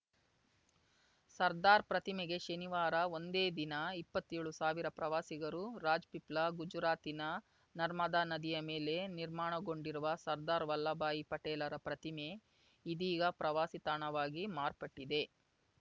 ಸರ್ದಾರ್‌ ಪ್ರತಿಮೆಗೆ ಶನಿವಾರ ಒಂದೇ ದಿನ ಇಪ್ಪತ್ತೇಳುಸಾವಿರ ಪ್ರವಾಸಿಗರು ರಾಜ್‌ಪಿಪ್ಲಾ ಗುಜರಾತಿನ ನರ್ಮದಾ ನದಿಯ ಮೇಲೆ ನಿರ್ಮಾಣಗೊಂಡಿರುವ ಸರ್ದಾರ್‌ ವಲ್ಲಭಾಯಿ ಪಟೇಲರ ಪ್ರತಿಮೆ ಇದೀಗ ಪ್ರವಾಸಿತಾಣವಾಗಿ ಮಾರ್ಪಟ್ಟಿದೆ